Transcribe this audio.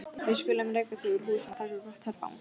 Við skulum reka þau úr húsum og taka gott herfang!